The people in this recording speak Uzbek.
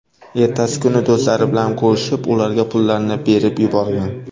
Ertasi kuni do‘stlari bilan ko‘rishib ularga pullarni berib yuborgan.